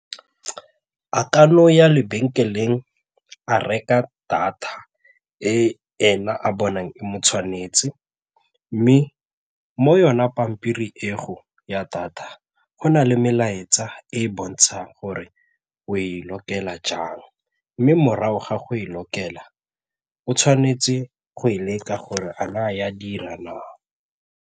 A kan'o ya lebenkeleng a reka data e ena a bonang e mo tshwanetse mme mo yona pampiri eo ya data, go na le melaetsa e e bontshang gore o e lokela jang mme morago ga go e lokela o tshwanetse go e leka gore a na e a dira na?